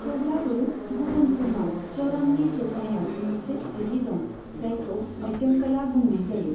थेवब्लाबो गुबुनफोरनाव चरणनि जोबनायाव मोनसे सिरि दं, जायखौ मध्यमकला बुंनाय जायो।